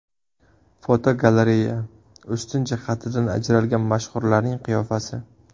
Fotogalereya: Ustun jihatidan ajralgan mashhurlarning qiyofasi.